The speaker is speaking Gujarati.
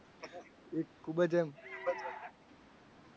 ખૂબ જ એમ